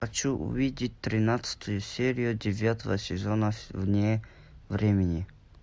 хочу увидеть тринадцатую серию девятого сезона вне времени